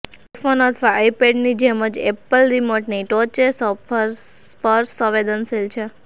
iPhone અથવા આઈપેડની જેમ જ એપલ રિમોટની ટોચે સ્પર્શ સંવેદનશીલ છે